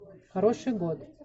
хороший год